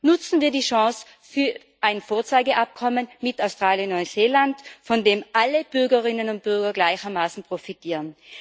Nutzen wir die Chance für ein Vorzeigeabkommen mit Australien und Neuseeland, von dem alle Bürgerinnen und Bürger gleichermaßen profitieren!